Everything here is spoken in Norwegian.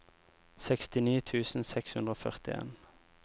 sekstini tusen seks hundre og førtien